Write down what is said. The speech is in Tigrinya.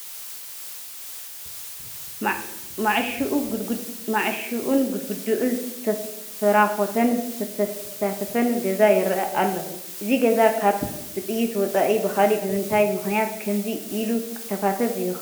ማዕሾኡን ግድግድኡን ዝተፈራኾተን ዝተተፋተፈን ገዛ ይርአ ኣሎ፡፡ እዚ ገዛ ካብ ብጥይት ወፃኢ ብኻልእ ብምንታይ ምኽንያት ከምዚ ኢሉ ክተፋተፍ ይኽእል ትብሉ?